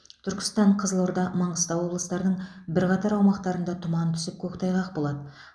түркістан қызылорда маңғыстау облыстарының бірқатар аумақтарында тұман түсіп көктайғақ болады